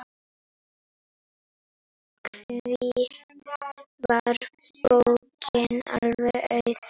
Því var bókin alveg auð.